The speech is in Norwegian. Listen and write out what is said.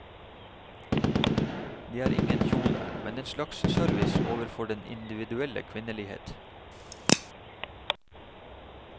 Det er ingen kjole, men en slags service overfor den individuelle kvinnelighet.